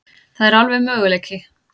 Það er alveg möguleiki.